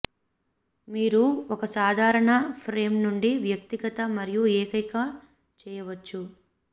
మీరు ఒక సాధారణ ఫ్రేమ్ నుండి వ్యక్తిగత మరియు ఏకైక చేయవచ్చు